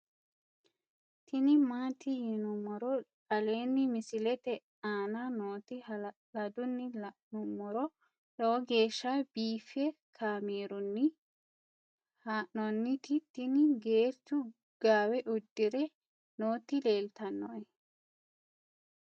tini maati yinummoro aleenni misilete aana nooti hala'ladunni la'nummoro lowo geeshsha biiffe kaamerunni haa'nooniti tini geerchu gaawe uddire nooti leeltannoe